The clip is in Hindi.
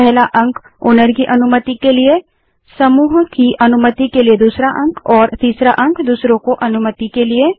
पहला अंक मालिक की अनुमति के लिए है दूसरा अंक समूह की अनुमति के लिए है और तीसरा अंक दूसरों की अनुमति के लिए है